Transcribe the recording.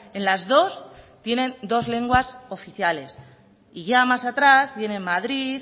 en las dos tienen dos lenguas oficiales y ya más atrás vienen madrid